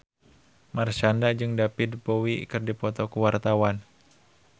Marshanda jeung David Bowie keur dipoto ku wartawan